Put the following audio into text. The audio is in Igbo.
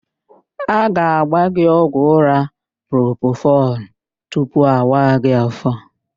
A ga-agba gị ọgwụ ụ́rá propofọl tupu awa gị áfó.